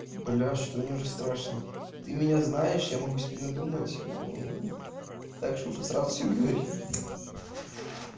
бля что-то мне уже страшно ты меня знаешь я могу себе надумать так что лучше сразу все говори